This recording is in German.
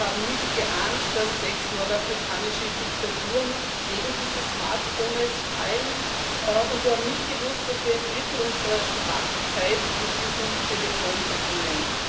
Wir haben nicht geahnt, dass sechs nordafrikanische Diktaturen wegen dieses Smartphones fallen, und wir haben nicht gewusst, dass wir ein Drittel unserer Wachzeit mit diesem Telefon verbringen.